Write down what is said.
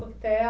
hotel.